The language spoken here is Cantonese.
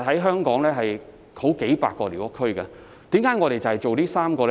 香港現時有數百個寮屋區，為何我們只發展這3個呢？